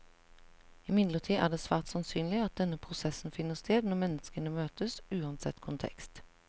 Imidlertid er det svært sannsynlig at denne prosessen finner sted når mennesker møtes, uansett kontekst.